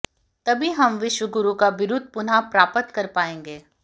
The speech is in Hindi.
तभी हम विश्वगुरु का बिरुद पुनः प्राप्त कर पाएंगे